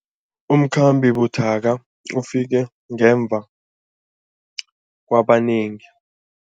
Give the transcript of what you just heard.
Umkhambi buthaka ufike ngemva kwabanengi.